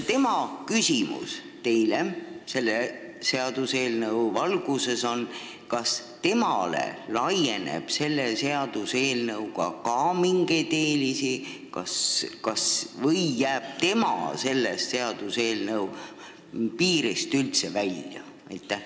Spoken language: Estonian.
Tema küsimus teile selle seaduseelnõu valguses on see: kas tema saab selle seaduseelnõuga ka mingeid eeliseid või jääb tema selle seaduseelnõu piiridest üldse välja?